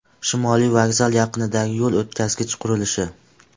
Shimoliy vokzal yaqinidagi yo‘l o‘tkazgich qurilishi .